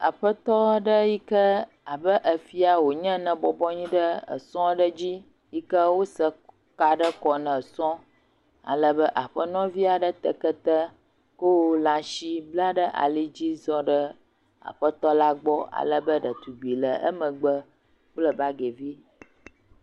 Aƒetɔ aɖe yi kea be efia wonye ne bɔbɔ anyi ɖe esɔ aɖe dzi yi ke wose ka ɖe kɔ ne esɔ. Alebe aƒenɔvi aɖe te keke wowɔ lãasi bla ɖe ali dzi zɔ ɖe aƒetɔ la gbɔ alebe ɖetugbi le emgbe kple bagi vi.